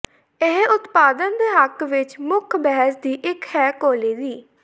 ਇਹ ਉਤਪਾਦਨ ਦੇ ਹੱਕ ਵਿਚ ਮੁੱਖ ਬਹਿਸ ਦੀ ਇੱਕ ਹੈ ਕੋਲੇ ਦੀ